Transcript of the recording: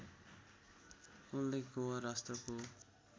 उल्लेख गोवा राष्ट्रको